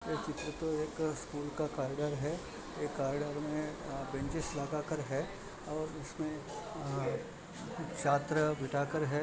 ये चित्र तो एक स्कूल का खारघर है एक कॉरिडॉर मे अ अ बेंचेस लगाकर है और उसमे अ अ चित्र बिठाकर है।